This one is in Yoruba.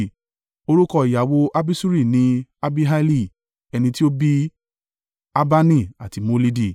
Orúkọ ìyàwó Abiṣuri ni Abihaili ẹni tí ó bí Ahbani àti Molidi.